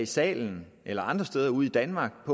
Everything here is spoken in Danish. salen eller andre steder ude i danmark